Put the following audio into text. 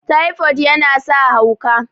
typod yana sa hauka